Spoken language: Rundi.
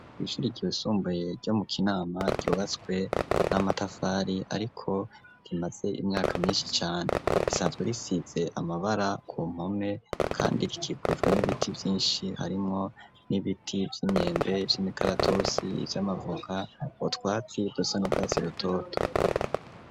Kw'ishure ryisumbuye ryo mu kinama ryubatswe n'amatafari ariko rimaze imyaka myinshi cane risanzwe risize amabara ku mpome kandi rikikujwe n'ibiti ryinshi harimwo n'ibiti vy'imyembe , vy'imikaratusi vy'amavoka n'utwatsi dusa n'urwatsi rutoto.